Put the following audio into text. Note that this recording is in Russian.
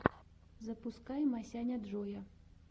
запускай масяняджоя